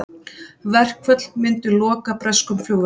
Verkföll myndu loka breskum flugvöllum